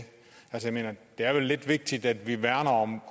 jeg mener det er vel lidt vigtigt at vi værner om